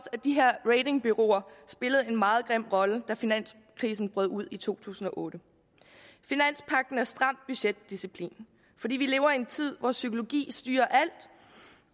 at de her ratingbureauer spillede en meget grim rolle da finanskrisen brød ud i to tusind og otte finanspagten betyder stram budgetdisciplin fordi vi lever i en tid hvor psykologi styrer alt